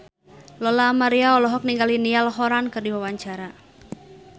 Lola Amaria olohok ningali Niall Horran keur diwawancara